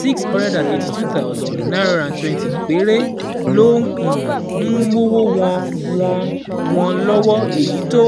six hundred eighty two thousand nine hundred twenty péré ló um ń mówó wọ́n wọ́n wọ́n lọ́wọ́, èyí tó